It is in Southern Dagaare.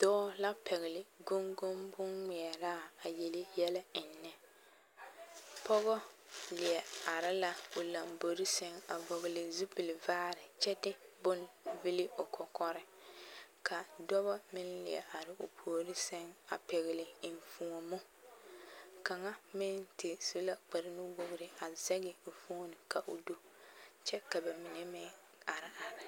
Dɔɔ la pɛgele goŋgoŋ boŋŋmeɛraa a yele yɛlɛ ennɛ, pɔgɔ leɛ are la o lombori seŋ a vɔgele zupili vaare kyɛ de bone vili o kɔkɔre ka dɔbɔ meŋ leɛ are o puori seŋ a pɛgele enfuomo kaŋa meŋ te su la kpare nu-wogiri a zɛge o fooni ka o do kyɛ ka bamine meŋ are are.